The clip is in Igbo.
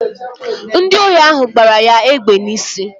Ndi ohi ahụ gbara ya egbe n'isi